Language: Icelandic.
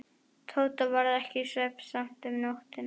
Tóta varð ekki svefnsamt um nóttina.